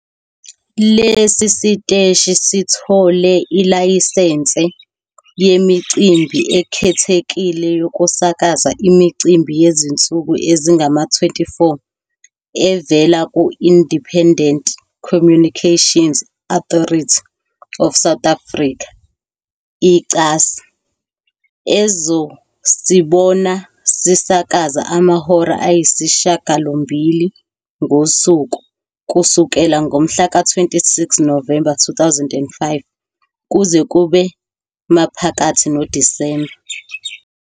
Lesi siteshi sithole ilayisense yemicimbi ekhethekile yokusakaza imicimbi yezinsuku ezingama-24, evela ku-Independent Communications Authority of South Africa, ICASA, ezosibona sisakaza amahora ayisishiyagalombili ngosuku, kusukela ngomhla ka-26 Novemba 2005 kuze kube maphakathi noDisemba.